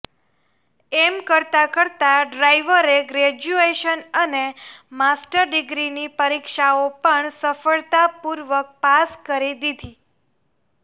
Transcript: એમ કરતાં કરતાં ડ્રાઇવરે ગ્રેજ્યુએશન અને માસ્ટર ડિગ્રીની પરીક્ષાઓ પણ સફળતા પૂર્વક પાસ કરી દીધી